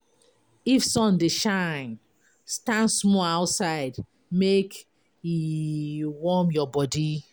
If sun dey shine, stand small outside make e e warm your body.